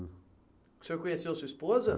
O senhor conheceu a sua esposa?